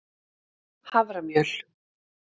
haframjöl